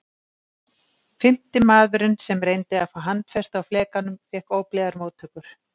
Fimmti maðurinn sem reyndi að fá handfestu á flekanum fékk óblíðar móttökur.